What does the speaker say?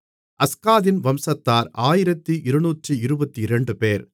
அஸ்காதின் வம்சத்தார் 1222 பேர்